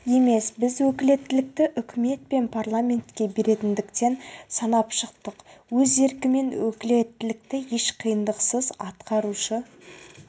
емес біз өкілеттікті үкімет пен парламентке беретіндігін санап шықтық өз еркімен өкілеттікті еш қиындықсыз атқарушы